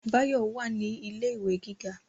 Báyọ̀ wà ní ilé ìwé gíga